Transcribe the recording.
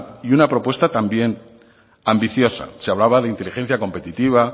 y una propuesta también ambiciosa se hablaba de inteligencia competitiva